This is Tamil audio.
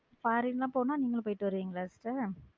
ஃபாரின்லாம் போனா நீங்களும் போயிட்டு வருவீங்களா sister